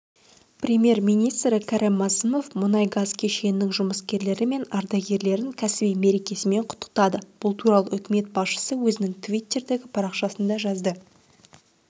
премьер-министрі кәрім мәсімов мұнай-газ кешенінің жұмыскерлері мен ардагерлерін кәсіби мерекесімен құттықтады бұл туралы үкімет басшысы өзінің тивиттердегі парақшасында жазды